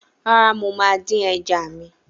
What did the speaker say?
Rárá, mo máa ń dín ẹja mi.